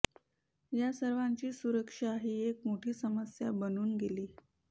या सर्वांची सुरक्षा ही एक मोठी समस्या बनून गेली